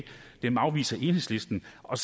og